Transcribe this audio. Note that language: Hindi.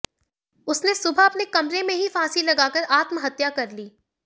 उसने सुबह अपने कमरे में ही फांसी लगाकर आत्महत्या कर ली